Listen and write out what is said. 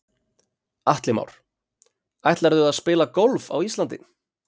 Atli Már: Ætlarðu að spila golf á Íslandi?